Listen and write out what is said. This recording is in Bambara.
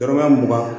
Yɔrɔba mugan